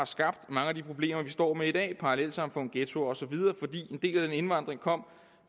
skabte mange af de problemer vi står med i dag parallelsamfund ghettoer og så videre fordi en del af den indvandring